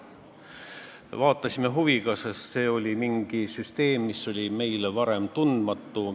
Me vaatasime huviga, sest see oli mingi selline süsteem, mis oli meile varem tundmatu.